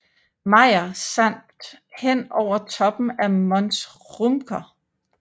Mayer samt hen over toppen af Mons Rümker